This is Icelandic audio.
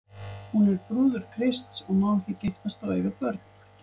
Hún er brúður Krists og má ekki giftast og eiga börn.